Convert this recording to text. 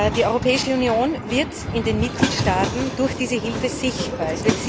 Die Europäische Union wird in den Mitgliedstaaten durch diese Hilfe sichtbar.